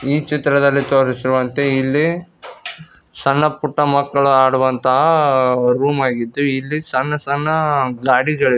ಈ ಚಿತ್ರದಲ್ಲಿ ತೋರಿಸಿರುವಂತೆ ಇಲ್ಲಿ ಸಣ್ಣ ಪುಟ್ಟ ಮಕ್ಕಳು ಆಡುವಂತಹ ರೂಮ್ ಆಗಿದ್ದು ಇಲ್ಲಿ ಸಣ್ಣ ಸಣ್ಣ ಗಾಡಿಗ --